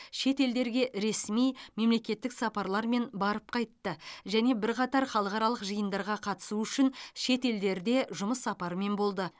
шетелдерге ресми мемлекеттік сапарлармен барып қайтты және бірқатар халықаралық жиындарға қатысу үшін шетелдерде жұмыс сапарымен болды